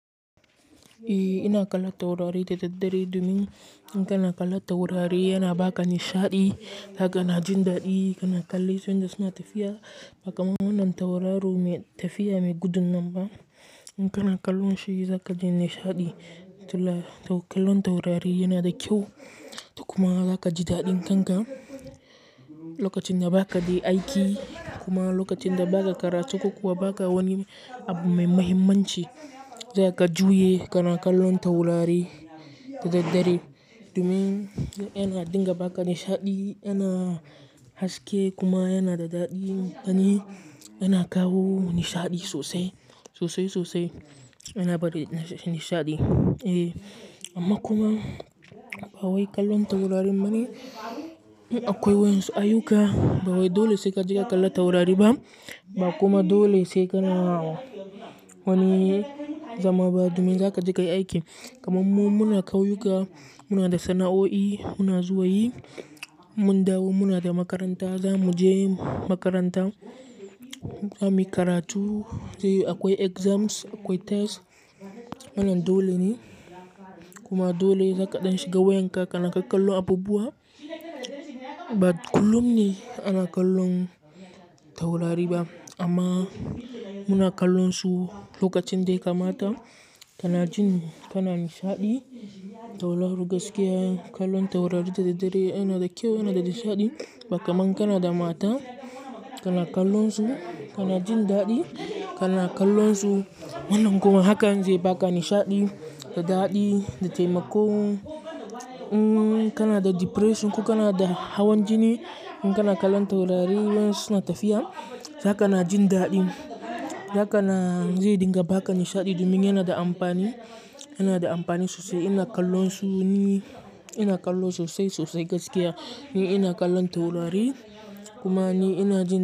Eh ina kallon taurari da daddare domin in kana kallon taurari yana baka nishaɗi, zaka na jin daɗi kana kalle su yanda su na tafiya. Bakamannan tauraro me tafiya mai gudun nan ba in kana kallon shi zaka jin nishaɗi. To kallon taurari yana da kyau to kuma zaka ji daɗin kanka lokacin da ba ka dai aiki kuma lokacin da baka karatu ko kuwa baka wani abu mai muhimmanci. Zaka juya kana kallon taurari da daddare domin yana dinga baka nishaɗi, yana haske kuma yana da daɗi. Gani, yana kawo nishaɗi sosai, sosai sosai yana bari nishaɗi. Eh amma kuma ba wai kallon taurarin bane a kwai wayansu ayyuka ba wai dole sai ka je ka kalli taurariba ba kuma dole sai kana wani zama ba domin za ka jika yi aiki. Kamun mu muna kayyuka, muna da sana'o'i, muna zuwa yi, in mun dawo muna da makaranta, za mu je makaranta, za muyi karatu, zai yuwu akwai exams, akwai test wannan dole ne. Kuma dole zaka ɗan shiga wayanka kana kak kallon abubuwa. Ba kullum ne ana kallon taurari ba amma muna kallon su lokacin dai kamata kana jin kana nishaɗi. To lar gaskiya kallon taurari da daddare yana da kyau, yana da nishaɗi baka man kana da mata kana kallon su kana jin daɗi. Kana kallon su wannan kuma hakan zai baka nishaɗi da daɗi da taimako. Umm, kana da depression ko kana da hawan jini in kana kallon taurari ma suna tafiya haka na jin daɗi. Haka na zai dinga baka nishaɗi domin yana da amfani, yana da amfani sosai. Ina kallon su ne ina kallon sosai sosai gaskiya ni ina kallon taurari kuma ni ina jin.